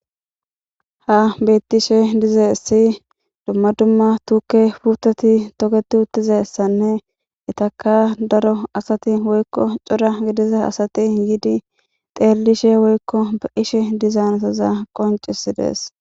ha bettishe dizaysi dumma dumma tuuke puutati toketi uttize ssanne itaka daro asati woykko cora gidiza asati yiidi xeellishe woykko be'ishe diza asaza qoncisidees.